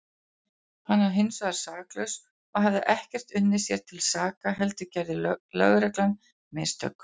Hann var hinsvegar saklaus og hafði ekkert unnið sér til saka heldur gerði lögreglan mistök.